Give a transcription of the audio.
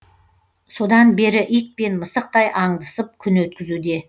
содан бері ит пен мысықтай аңдысып күн өткізуде